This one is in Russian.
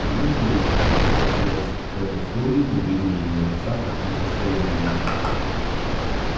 к тому же ей никак не хотелось чтобы слуги увидели её отца в таком состоянии